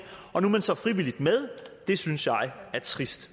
og nu er man så frivilligt med det synes jeg er trist